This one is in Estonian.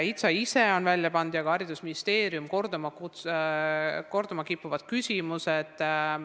HITSA ise ja HTM on välja pannud ka korduma kippuvad küsimused.